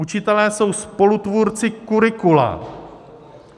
Učitelé jsou spolutvůrci curricula.